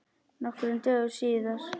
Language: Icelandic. Nokkrum dögum síðar.